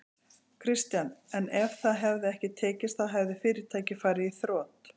Kristján: En ef það hefði ekki tekist þá hefði fyrirtækið farið í þrot?